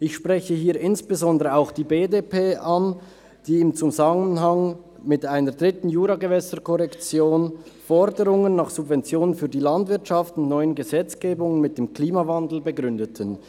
Ich spreche hier insbesondere auch die BDP an, die in Zusammenhang mit einer dritten Juragewässerkorrektion Forderungen nach Subventionen für die Landwirtschaft in der neuen Gesetzgebung mit dem Klimawandel begründete.